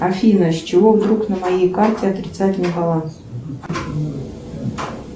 афина с чего вдруг на моей карте отрицательный баланс